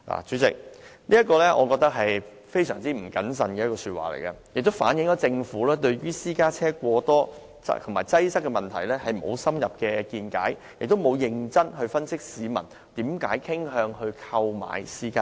主席，這是非常不謹慎的說話，亦反映政府對私家車過多及擠塞的問題沒有深入見解，也沒有認真分析市民為何傾向購買私家車。